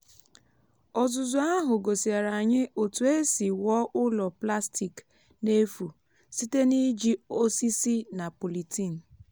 ọzụzụ ahụ gosiere anyị otu esi wuo ụlọ plastik n’efu site n’iji osisi na polythene.